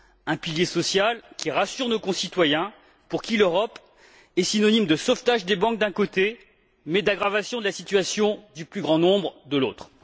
Un pilier social qui rassure nos concitoyens, pour qui l'Europe est synonyme de sauvetage des banques, d'un côté, mais d'aggravation de la situation du plus grand nombre, de l'autre.